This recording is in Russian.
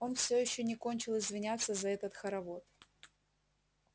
он всё ещё не кончил извиняться за этот хоровод